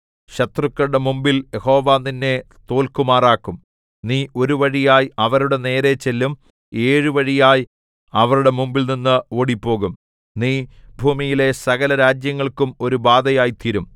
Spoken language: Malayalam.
ശത്രുക്കളുടെ മുമ്പിൽ യഹോവ നിന്നെ തോല്ക്കുമാറാക്കും നീ ഒരു വഴിയായി അവരുടെ നേരെ ചെല്ലും ഏഴു വഴിയായി അവരുടെ മുമ്പിൽനിന്ന് ഓടിപ്പോകും നീ ഭൂമിയിലെ സകലരാജ്യങ്ങൾക്കും ഒരു ബാധയായിത്തീരും